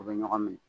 U bɛ ɲɔgɔn minɛ